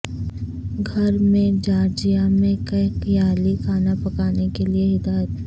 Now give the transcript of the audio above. گھر میں جارجیا میں کھکیالی کھانا پکانے کے لئے ہدایت